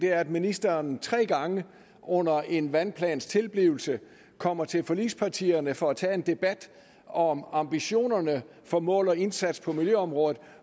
er at ministeren tre gange under en vandplans tilblivelse kommer til forligspartierne for at tage en debat om ambitionerne for mål og indsats på miljøområdet